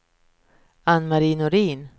Ann-Mari Norin